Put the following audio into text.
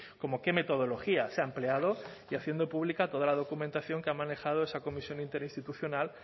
como qué metodología se ha empleado y haciendo pública toda la documentación que ha manejado esa comisión interinstitucional